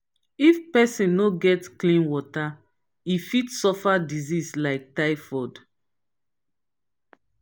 if pesin no get clean water e fit suffer disease like typhoid.